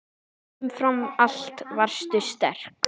Umfram allt varstu sterk.